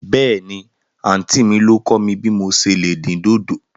Bẹ́ẹ̀ni, àntí mi ló kọ̀ mí bí mò se lè dín dòdò.